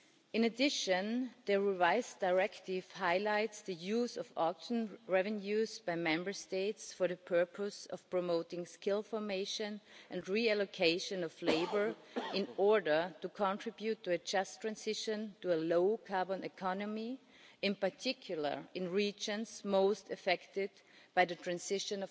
In addition, the revised directive highlights the use of auction revenues by Member States for the purpose of promoting skills formation and the reallocation of labour in order to contribute to a just transition to a low-carbon economy, in particular in regions most affected by the jobs transition.